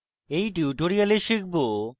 in tutorial শিখব: